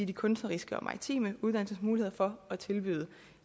de kunstneriske og maritime uddannelsers muligheder for at tilbyde